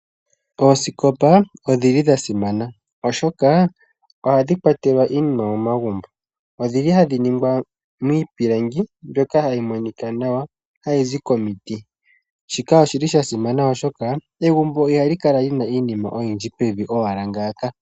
Oosikopa odhi li dhasimana oshoka ohadhi kwatelwa iinima momagumbo. Odhi li hadhi ningwa miipilangi mbyoka hayi monika nawa hayi zi komiti, shika oshili shasimana oshoka egumbo ihali kala lina iinima yili pevi owala ngaaka.